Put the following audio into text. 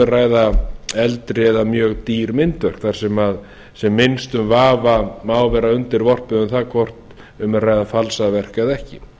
að ræða eldri eða mjög dýr myndverk þar sem minnstum vafa má vera undirorpið um það hvort um er að ræða falsað verk eða ekki